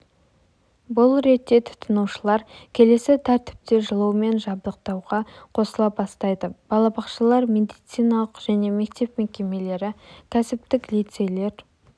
бұл ретте тұтынушылар келесі тәртіпте жылумен жабдықтауға қосыла бастайды балабақшалар медициналық және мектеп мекемелері кәсіптік лицейлер